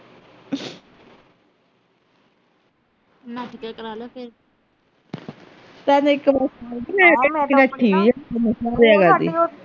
ਨੱਠ ਕੇ ਕਰਾ ਲਾ ਫਿਰ